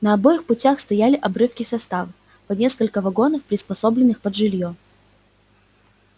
на обоих путях стояли обрывки составов по несколько вагонов приспособленных под жилье